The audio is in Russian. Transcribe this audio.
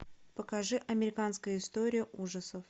покажи американская история ужасов